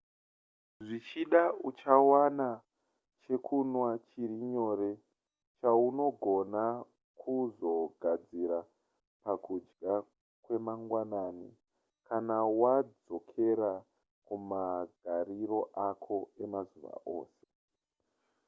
zvichida uchawana chekunwa chiri nyore chaunogona kuzogadzira pakudya kwemangwanani kana wadzokera kumagariro ako emazuva ose